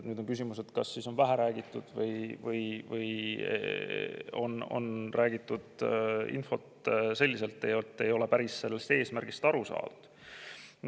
Nüüd on küsimus, kas on vähe räägitud või on räägitud nendest selliselt, et ei ole päris eesmärgist aru saadud.